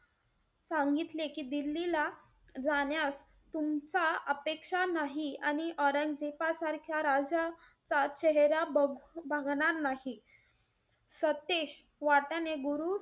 सांगतले की दिल्लीला जाण्यास तुमचा अपेक्षा नाही. आणि औरंगजेबासारख्या राजाचा चेहरा बघ~ बघणार नाही. सतेश वाट्याने गुरु,